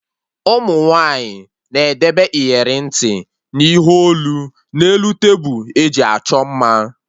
Ụmụ nwaanyị na-edebe iyeri ntị na ihe olu na elu tebụl eji achọ mma